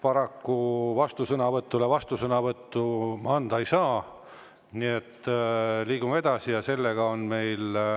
Paraku vastusõnavõtu peale vastusõnavõttu anda ei saa, nii et liigume edasi.